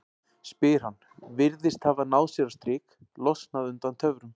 spyr hann, virðist hafa náð sér á strik, losnað undan töfrum